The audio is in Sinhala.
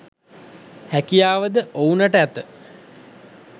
හැකියාව ද ඔවුනට ඇත.